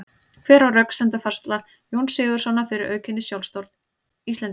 Hver var röksemdafærsla Jóns Sigurðssonar fyrir aukinni sjálfstjórn Íslendinga?